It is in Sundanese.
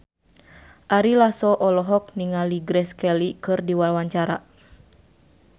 Ari Lasso olohok ningali Grace Kelly keur diwawancara